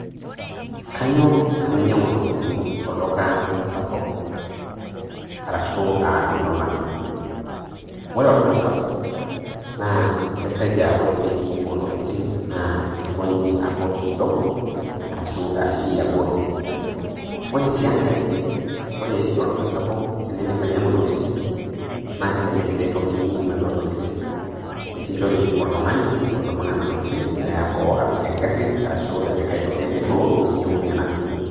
Kanyor tenainyang'u intokitin tolduka sapuk, arashu um ilolan. Kore olduka sapuka naa keseja ore beei oo ntokitin naa kikunyi akut kidogo arashu etii abori. Ore sii enkai, ore tolduka sapuk tinindip ainyangu intokitin naa kelelek kiretokini naduo tokitin nikinchori oltungani odumu nena tokitin, neyaa boo apik engari arashu aai toki ake duo niyeu ninapie.